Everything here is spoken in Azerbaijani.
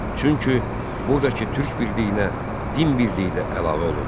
Çünki burdakı Türk birliyinə din birliyi də əlavə olundu.